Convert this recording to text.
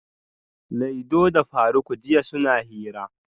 Laido da faruk jiya suna hira